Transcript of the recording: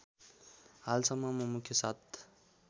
हालसम्ममा मुख्य सात